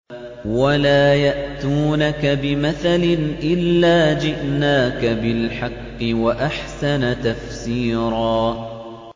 وَلَا يَأْتُونَكَ بِمَثَلٍ إِلَّا جِئْنَاكَ بِالْحَقِّ وَأَحْسَنَ تَفْسِيرًا